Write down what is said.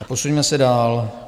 A posuňme se dál.